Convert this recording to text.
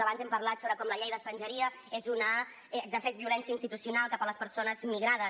abans hem parlat sobre com la llei d’estrangeria exerceix violència institucional cap a les persones migrades